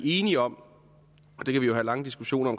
enige om og det kan vi jo have lange diskussioner